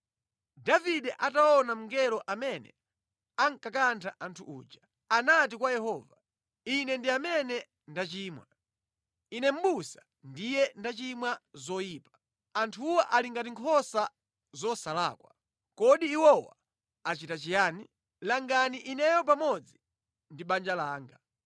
Davide ataona mngelo amene ankakantha anthu uja, anati kwa Yehova, “Ine ndi amene ndachimwa. Ine mʼbusa ndiye ndachita zoyipa. Anthuwa ali ngati nkhosa zosalakwa. Kodi iwowa achita chiyani? Langani ineyo pamodzi ndi banja langa.”